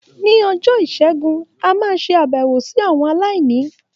Ní ọjọ́ Ìṣẹ́gun, a máa ṣe àbẹ̀wò sí àwọn aláìní.